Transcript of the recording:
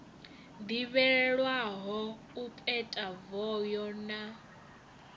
ḓivhelwaho u peta voho na